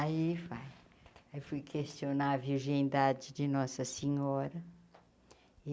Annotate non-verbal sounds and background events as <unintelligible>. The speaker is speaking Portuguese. Aí <unintelligible> aí fui questionar a virgindade de Nossa Senhora.